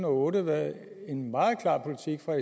og otte været en meget klar politik fra